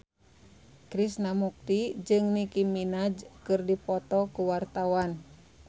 Krishna Mukti jeung Nicky Minaj keur dipoto ku wartawan